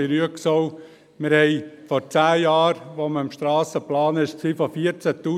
Wir sprachen vor zehn Jahren, als man Strassen plante, von 14 000 Autos.